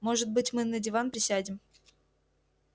может быть мы на диван присядем